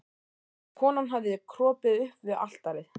Konan hafði kropið upp við altarið.